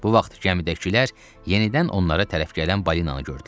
Bu vaxt gəmidəkilər yenidən onlara tərəf gələn balinanı gördülər.